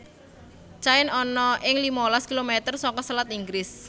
Caen ana ing limalas kilometer saka selat Inggris